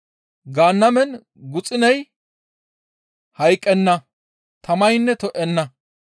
Gaannamen guxuney hayqqenna, tamaynne to7enna.